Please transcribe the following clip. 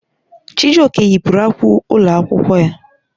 Chijioke yipụrụ akwa ụlọ akwụkwọ ya.